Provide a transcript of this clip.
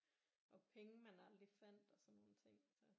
Og penge man aldrig fandt og sådan nogle ting så